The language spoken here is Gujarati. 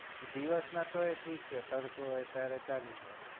દિવસમાં તો ઠીક છે તડકો અત્યારે ચાલી રે